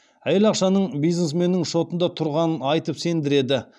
әйел ақшаның бизнесменнің шотында тұрғанын айтып сендіреді